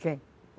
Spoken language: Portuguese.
Quem?